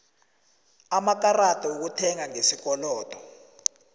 amakarada wokuthenga ngesikolodo